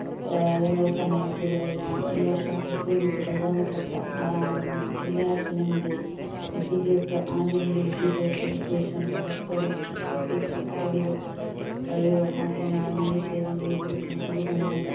ഏർ സമയം ചിലവഴിക്കണം ഈ വർഷം പ്രത്യേകിച്ച് പ്രധാനപ്പെട്ട മാറുന്നു എല്ലാത്തിനുമുപരി വിദ്യാഭ്യാസ ആധുനിക വിദ്യാഭ്യാസ ഉദ്ദേശം പരസ്പ്പര വ്യക്തിത്വം അറിവുകൾ കഴിവ് മാത്രമല്ല നല്ല ശരീരിക വികസനം അതുകൊണ്ട് നല്ല